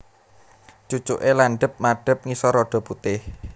Cucuke landhep madhep ngisor rada putih